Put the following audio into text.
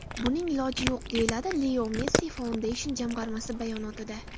Buning iloji yo‘q”, deyiladi Leo Messi Foundation jamg‘armasi bayonotida.